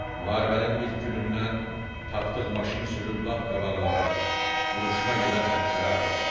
Müharibənin ilk günündən tapdığı maşını sürüb lap qabaqlara, vuruşma gedən xəttlərə apardı.